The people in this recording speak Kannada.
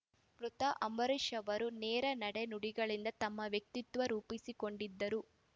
ಮೃತ ಅಂಬರೀಷ್‌ ಅವರು ನೇರ ನಡೆ ನುಡಿಗಳಿಂದ ತಮ್ಮ ವ್ಯಕ್ತಿತ್ವ ರೂಪಿಸಿಕೊಂಡಿದ್ದರು